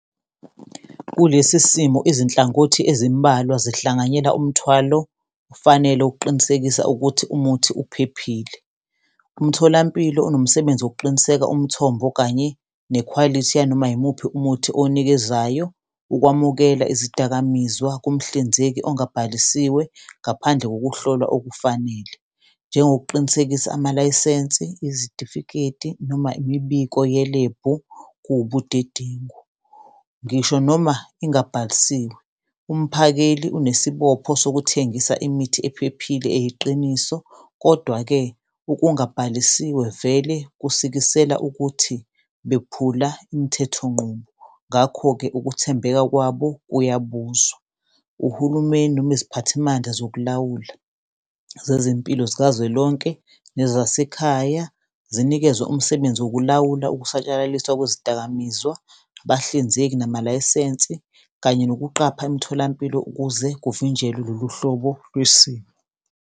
Kulesi simo izinhlangothi ezimbalwa zihlanganyela umthwalo ofanele ukuqinisekisa ukuthi umuthi uphephile, umtholampilo unomsebenzi wokuqiniseka umthombo kanye nekhwalithi yanoma yimuphi umuthi owunikezayo. Ukwamukela izidakamizwa kumhlinzeki ongabhalisiwe ngaphandle kokuhlolwa okufanele, njengokuqinisekisa amalayisensi, izitifiketi noma imibiko yelebhu kuwubudedengu ngisho noma ingabhalisiwe. Umphakeli unesibopho sekuthengisa imithi ephephile eyiqiniso, kodwa-ke ukungabhalisiwe vele kusikisela ukuthi bekuphula imithethonqubo, ngakho-ke ukuthembeka kwabo kuyabuzwa. Uhulumeni noma iziphathimandla zokulawula zezempilo zikazwelonke nezasekhaya zinikezwa umsebenzi wokulawula ukusatshalaliswa kwezidakamizwa, abahlinzeki namalayisensi kanye nokuqapha emitholampilo ukuze kuvinjelwe lolu hlobo lwesimo.